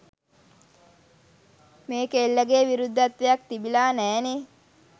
මේ කෙල්ලගේ විරුද්ධත්වයක් තිබිලා නෑනේ.